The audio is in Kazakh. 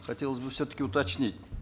хотелось бы все таки уточнить